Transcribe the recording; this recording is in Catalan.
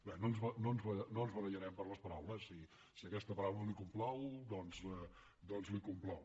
bé no ens barallarem per les paraules si aquesta paraula li complau doncs li complau